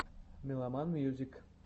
меломан мьюзик